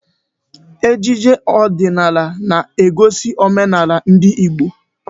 Ejije ọdịnala na-egosi omenala ndị Igbo.